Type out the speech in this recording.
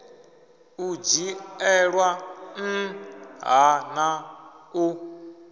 u dzhielwa nṱha na u